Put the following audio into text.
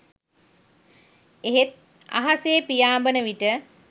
එහෙත් අහසේ පියාඹන විට